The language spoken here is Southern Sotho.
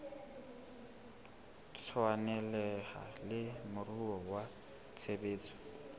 tshwaneleha le moruo wa tshebetso